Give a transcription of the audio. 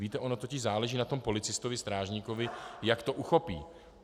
Víte, ono totiž záleží na tom policistovi, strážníkovi, jak to uchopí.